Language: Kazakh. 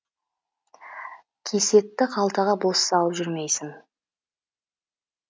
кисетті қалтаға бос салып жүрмейсің